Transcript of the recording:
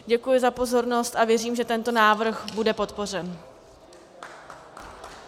Děkuji za pozornost a věřím, že tento návrh bude podpořen.